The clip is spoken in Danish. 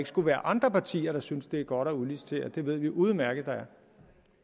skulle være andre partier der syntes det var godt at udlicitere det ved vi udmærket at der er